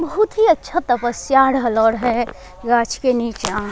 बहुत ही अच्छा तपस्या रहलोर है लक्ष्य के निचा।